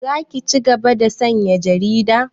Za ki cigaba da sayan jarida?